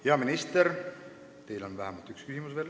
Hea minister, teile on vähemalt üks küsimus.